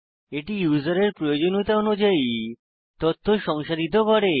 এটি ইউসারের প্রয়োজনীয়তা অনুযায়ী তথ্য সংসাধিত করে